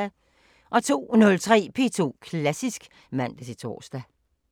02:03: P2 Klassisk (man-tor)